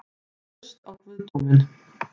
Traust á guðdóminn?